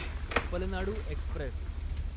Palnadu Express